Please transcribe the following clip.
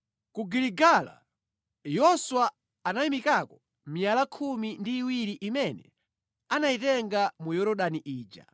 Ku Giligala, Yoswa anayimikako miyala khumi ndi iwiri imene anayitenga mu Yorodani ija.